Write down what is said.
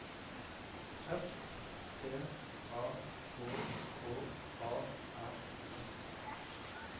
S T A K K A R S